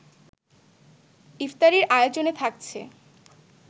ইফতারির আয়োজনে থাকছে